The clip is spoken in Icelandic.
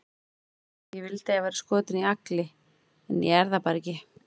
Ég vildi að ég væri skotin í Agli, en ég er það bara ekki.